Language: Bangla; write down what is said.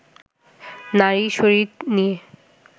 নারী শরীর নিয়ে